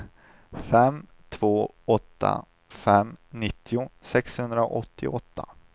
fem två åtta fem nittio sexhundraåttioåtta